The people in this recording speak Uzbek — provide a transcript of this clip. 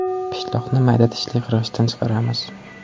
Pishloqni mayda tishli qirg‘ichdan chiqaramiz.